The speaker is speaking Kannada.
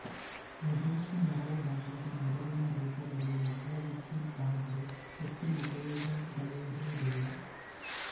ವಿದೇಶಿ ನೆರವು ಬಂಧಿತ ನೆರವಿನ ರೂಪದಲ್ಲಿ ಲಭ್ಯವಿದ್ದಿದ್ದಾದರೆ ಹೆಚ್ಚಿನ ಉಪಯೋಗಗಳಿರುವುದಿಲ್ಲ